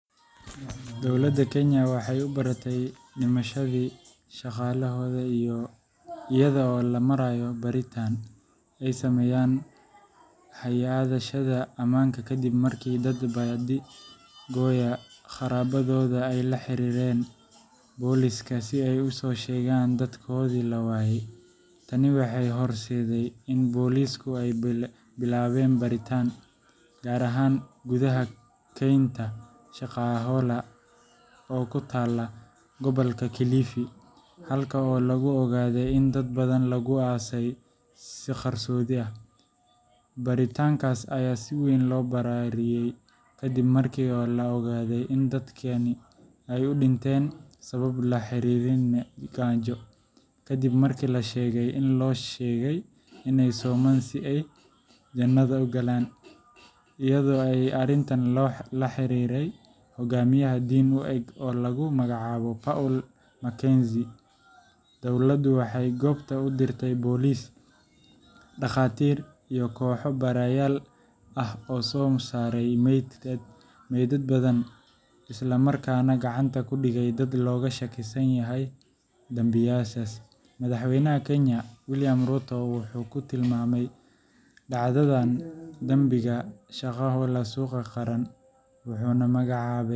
Dowladda Kenya waxay u baratay dhimashadii Shakahola iyada oo loo marayo baaritaan ay sameeyeen hay’adaha ammaanka kadib markii dad baadi-goobaya qaraabadooda ay la xiriireen booliiska si ay u soo sheegaan dadkoodii la waayay. Tani waxay horseeday in boolisku ay bilaabeen baaritaan, gaar ahaan gudaha kaynta Shakahola oo ku taalla gobolka Kilifi, halkaas oo lagu ogaaday in dad badan lagu aasay si qarsoodi ah. Baaritaankaas ayaa si weyn loo balaariyay kadib markii la ogaaday in dadkani ay u dhinteen sababo la xiriira gaajo, kaddib markii la sheegay in loo sheegay inay soomaan si ay "jannada u galaan," iyadoo ay arrintan la xiriirtay hoggaamiye diin u eg oo lagu magacaabo Paul Mackenzie. Dowladdu waxay goobta u dirtay booliis, dhaqaatiir, iyo kooxo baarayaal ah oo soo saaray meydad badan, isla markaana gacanta ku dhigay dad looga shakisan yahay dambiyadaas. Madaxweynaha Kenya, William Ruto, wuxuu ku tilmaamay dhacdadan dambiga Shakahola “xasuuq qaran” wuxuuna magacaabay .